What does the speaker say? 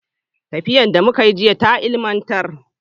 Tafiyar da muka yi jiya ta ilimantar.